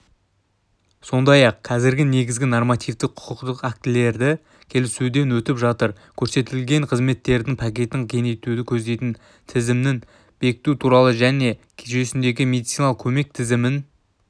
сондай-ақ қазір негізгі нормативтік-құқықтық актілері келісуден өтіп жатыр көрсетілетін қызметтердің пакетін кеңейтуді көздейтін тізімін бекіту туралы және жүйесіндегі медициналық көмек тізімін